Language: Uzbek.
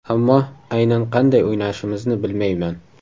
Ammo aynan qanday o‘ynashimizni bilmayman.